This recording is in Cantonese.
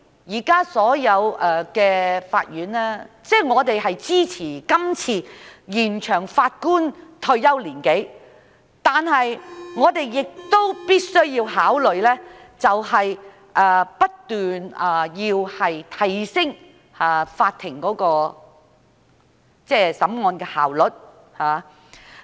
因此，我們支持今次延展法官的退休年齡，但我們亦必須不斷提升法庭審案的效率。